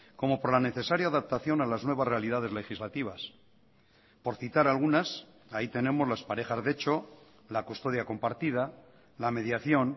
como por la necesaria adaptación a las nuevas realidades legislativas por citar algunas ahí tenemos las parejas de hecho la custodia compartida la mediación